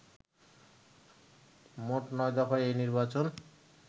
মোট নয় দফায় এই নির্বাচন